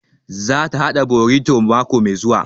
Za ta haɗa borito mako mai zuwa